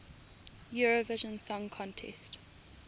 eurovision song contest